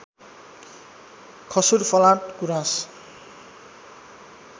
खसु्र फलाँट गुराँस